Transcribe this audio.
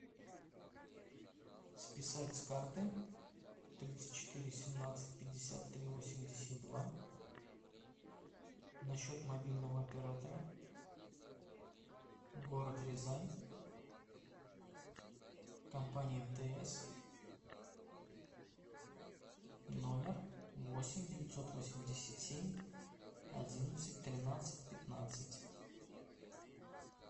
списать с карты тридцать четыре семнадцать пятьдесят три восемьдесят два на счет мобильного оператора город рязань компания мтс номер восемь девятьсот восемьдесят семь одиннадцать тринадцать пятнадцать